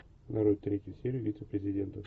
нарой третью серию вице президента